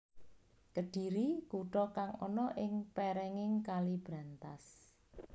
Kedhiri kuta kang ana ing pèrènging Kali Brantas